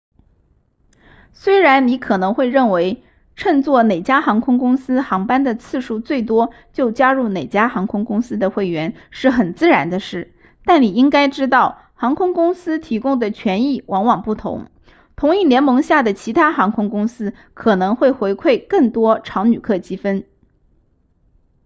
虽然你可能会认为乘坐哪家航空公司航班的次数最多就加入哪家航空公司的会员是很自然的事但你应该知道航空公司提供的权益往往不同同一联盟下的其他航空公司可能会回馈更多常旅客积分